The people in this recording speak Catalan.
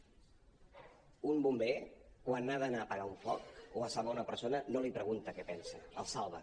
un bomber quan ha d’anar a apagar un foc o a salvar una persona no li pregunta què pensa el salva